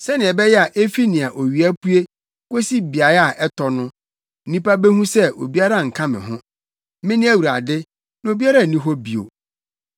sɛnea ɛbɛyɛ a efi nea owia pue kosi beae a ɛtɔ no nnipa behu sɛ obiara nka me ho. Mene Awurade, na obiara nni hɔ bio.